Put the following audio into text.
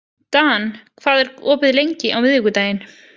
Dan, hvað er opið lengi á miðvikudaginn?